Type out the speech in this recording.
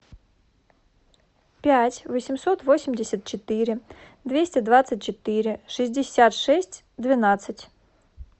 пять восемьсот восемьдесят четыре двести двадцать четыре шестьдесят шесть двенадцать